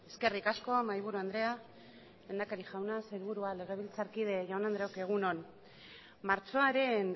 eskerrik asko mahaiburu andrea lehendakari jauna sailburua legebiltzarkide jaun andreok egun on martxoaren